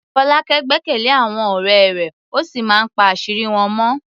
Folake gbẹ́kẹ̀lé àwọn ọ̀rẹ́ rẹ̀ ó sì máa ń pa àṣírí wọn mọ́.